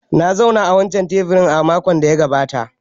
Na zauna a wancan teburin makon da ya gabata